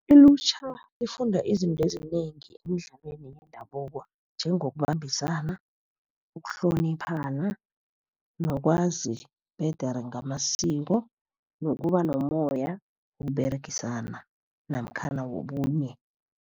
Ilutjha lifunda izinto ezinengi emidlalweni yendabuko njengokubambisana, ukuhloniphana, nokwazi bhedere ngamasiko, nokuba nomoya wokUberegisana namkhana wobunye.